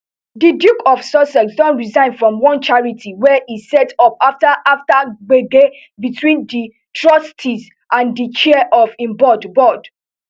di duke of sussex don resign from one charity wey e set up afta after gbege between di trustees and di chair of im board board